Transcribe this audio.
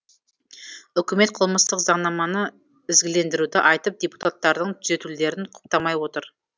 үкімет қылмыстық заңнаманы ізгілендіруді айтып депутаттардың түзетулерін құптамай отыр